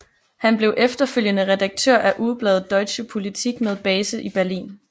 Han blev efterfølgende redaktør af ugebladet Deutsche Politik med base i Berlin